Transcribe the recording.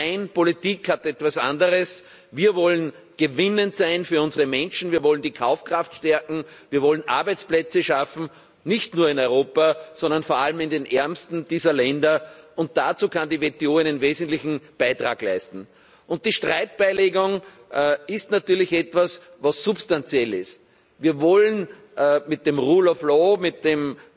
Nein, Politik heißt etwas anderes Wir wollen gewinnend sein für unsere Menschen, wir wollen die Kaufkraft stärken, wir wollen Arbeitsplätze schaffen, nicht nur in Europa, sondern vor allem in den ärmsten dieser Länder, und dazu kann die WTO einen wesentlichen Beitrag leisten. Die Streitbeilegung ist natürlich etwas Substanzielles. Wir wollen mit der Rechtsstaatlichkeit, mit